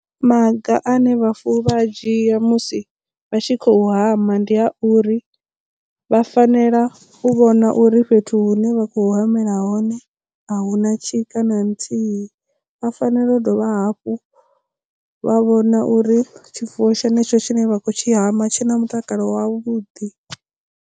Maga ane vhafuwi vha dzhia musi vha tshi khou hama ndi a uri vha fanela u vhona uri fhethu hune vha khou hamela hone a huna tshika na nthihi vha fanela u dovha hafhu vha vhona uri tshifuwo tshenetsho tshine vha khou tshi hama tshi na mutakalo wavhuḓi.